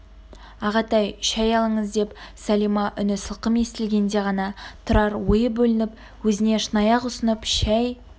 ағатай шәй алыңыз деп сәлима үні сылқым естілгенде ғана тұрар ойы бөлініп өзіне шынаяқ ұсынып шәй